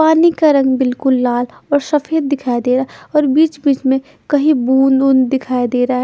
पानी का रंग बिलकुल लाल और सफेद दिखाई दे रहा है और बिच्च बिच्च में कही बूंद वुंद दिखाई दे रहा है।